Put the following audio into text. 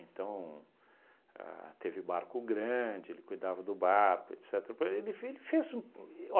Então, ah teve barco grande, ele cuidava do barco, etcetera. Para ele ele fe ele fez, um